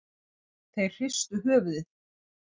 Þeir hristu höfuðið.